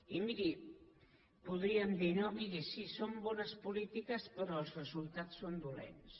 i miri podríem dir no miri sí són bones polítiques però els resultats són dolents